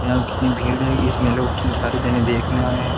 यहाँ कितनी भीड़ है इस मेल को कितने सारे जने देखने आए हैं।